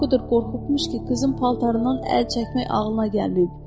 O qədər qorxubmuş ki, qızın paltarından əl çəkmək ağlına gəlməyib.